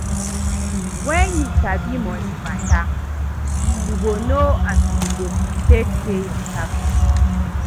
Wen you sabi moni mata, yu go know as you go take pay yur tax